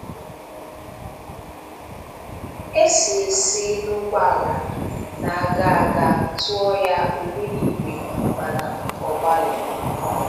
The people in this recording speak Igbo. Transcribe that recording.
E si E si n'ụgbọala na-aga aga tụọ ya ògbúnìgwè mana ọ gbaghị.